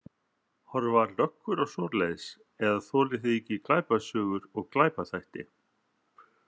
Horfa löggur á svoleiðis eða þolið þið ekki glæpasögur og glæpaþætti?